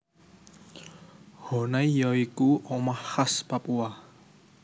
Honai ya iku omah khas Papua